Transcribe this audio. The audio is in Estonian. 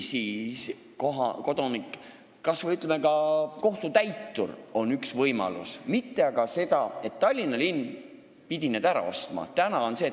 Kohtutäitur oleks olnud üks võimalus, õige ei olnud aga mitte see, et Tallinna linn pidi need korterid ära ostma.